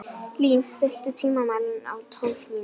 Lín, stilltu tímamælinn á tólf mínútur.